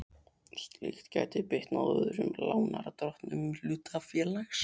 Slíkt gæti bitnað á öðrum lánardrottnum hlutafélags.